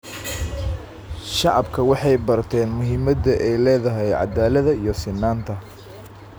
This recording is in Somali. Shacabku waxay barteen muhiimadda ay leedahay caddaaladda iyo sinnaanta.